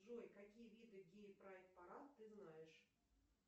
джой какие виды гей прайд парад ты знаешь